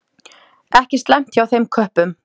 Ekki slæmt hjá þeim köppum.